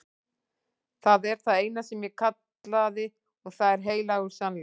Það er það eina sem ég kallaði og það er heilagur sannleikur.